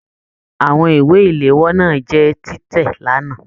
Àwọn ìwé iléwọ́ náà jẹ tìtẹ l'ana.